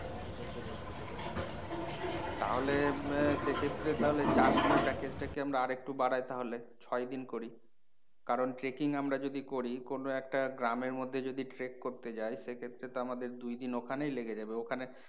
তাহলে আহ সেক্ষেত্রে তাহলে চারদিনের package টাকে আমরা আর একটু বারাই তাহলে ছয়দিন করি কারণ আমরা যদি করি কোনও একটা গ্রামের মধ্যে যদি trek করতে যাই সেক্ষেত্রে তো আমাদের দুইদিন ওখানেই লেগে যাবে। ওখানে